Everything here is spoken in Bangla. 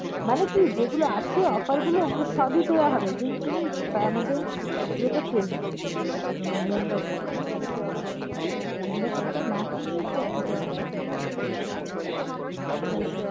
মানে কি যেগুলো আছে offer গুলো ওগুলো সবই দেয়া হবে যদি তুমি ত~ আমাদের ইয়েটা কিন, membership টা। membership টা না কিনলে এসব কিছুই দেবেনা। ওই।